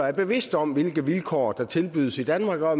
er bevidste om hvilke vilkår der tilbydes i danmark og at